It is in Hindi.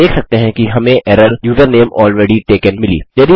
आप देख सकते हैं कि हमें एरर यूजरनेम अलरेडी तकें मिली